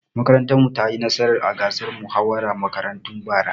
Makarantar mu ta yi nasara a gasar muhawarar makarantu bara.